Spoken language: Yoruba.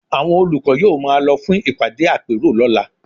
Àwọn olùkọ́ yóò máa lọ fún ìpàdé àpérò lọ́la